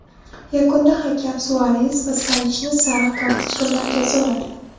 Yakunda hakam Suares va Savichni sariq kartochka bilan jazoladi.